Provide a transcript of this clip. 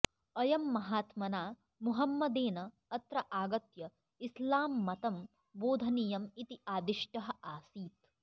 अयं महात्मना मोहम्मदेन अत्र आगत्य इस्लाम्मतं बोधनीयम् इति आदिष्टः आसीत्